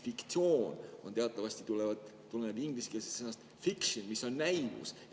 "Fiktsioon" teatavasti tuleneb ingliskeelsest sõnast "fiction", mis on näivus.